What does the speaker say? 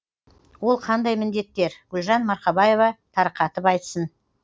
ол қандай міндеттер гүлжан марқабаева тарқатып айтсын